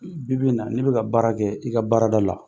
I bi bi in na n'i bɛka ka baara kɛ i ka baara da la.